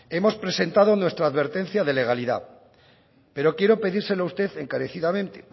hemos presentado nuestra advertencia de legalidad pero quiero pedírselo a usted encarecidamente